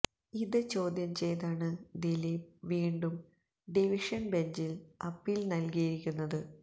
ഇത് ചോദ്യം ചെയ്താണ് ദിലീപ് വീണ്ടും ഡിവിഷന് ബെഞ്ചില് അപ്പീല് നല്കിയിരിക്കുന്നത്